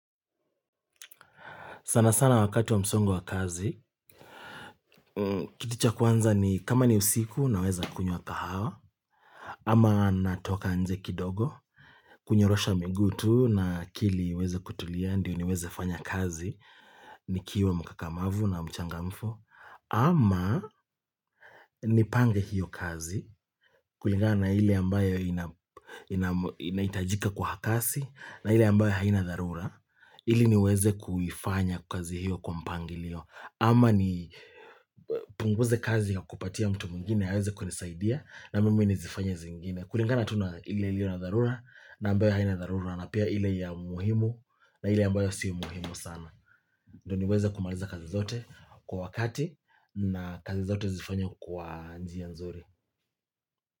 Sana sana wakati wa msongo wa kazi, kiticha kwanza ni kama ni usiku na weza kunyua kahawa, ama natoka anze kidogo, kunyorosha miguu tu na kili weze kutulia, ndio ni weze fanya kazi, ni kiwa mkakamavu na mchangamfu, ama nipange hiyo kazi kulingana ili ambayo inaitajika kwa hakasi, na ili ambayo haina darura, ili ni weze kufanya kazi hiyo kwa mpangilio. Ama ni punguze kazi ya kupatia mtu mungine Haweze kwenisaidia na mime nizifanya zingine kulingana tuna ili ili na darura na mbeo haina darura na pia ili ya muhimu na ili ambayo siya muhimu sana ndo niweze kumaliza kazi zote kwa wakati na kazi zote zifanya kwa njia nzuri.